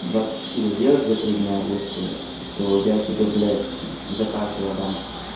двадцать четыре сделаешь за три дня если то я тебе блять за каждого отдам